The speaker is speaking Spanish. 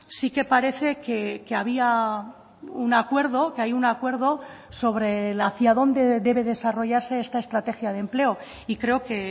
sí que parece que había un acuerdo que hay un acuerdo sobre el hacia dónde debe desarrollarse esta estrategia de empleo y creo que